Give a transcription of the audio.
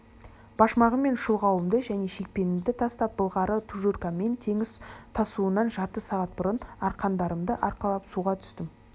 башмағым мен шұлғауымды және шекпенімді тастап былғары тужуркаммен теңіз тасуынан жарты сағат бұрын арқандарымды арқалап суға түстім